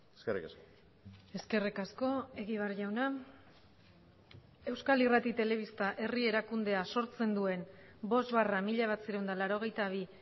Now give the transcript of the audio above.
eskerrik asko eskerrik asko egibar jauna euskal irrati telebista herri erakundea sortzen duen bost barra mila bederatziehun eta laurogeita bi